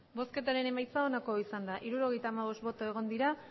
emandako botoak hirurogeita hamabost bai